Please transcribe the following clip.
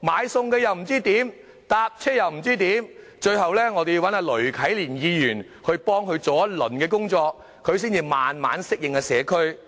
不知道該去哪裏買菜，又不知道該去哪裏乘車"，最後要請雷啟蓮區議員幫忙一番，她才慢慢適應社區。